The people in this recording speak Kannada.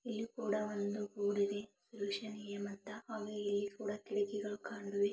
ಇಲ್ಲಿ ಕೂಡ ಒಂದು ಬೋರ್ಡಿದೆ ಸೊಲ್ಯೂಷನ್ ಏಮ್ ಅಂತ ಆಗೂ ಇಲ್ಲಿ ಕೂಡ ಕಿಡಕಿಗಳು ಕಾಣುವೆ--